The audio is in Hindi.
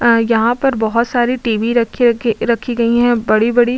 आ यहाँ पर बहोत सारे टी.बी. रखी रखी रखी गई हैं बड़ी-बड़ी --